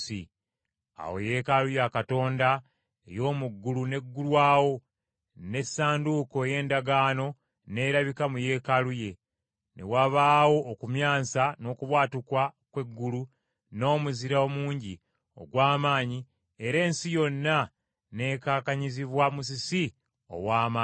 Awo Yeekaalu ya Katonda ey’omu ggulu n’eggulwawo, n’essanduuko ey’endagaano n’erabika mu Yeekaalu ye. Ne wabaawo okumyansa n’okubwatuka kw’eggulu n’omuzira omungi ogw’amaanyi era ensi yonna n’ekankanyizibwa musisi ow’amaanyi ennyo.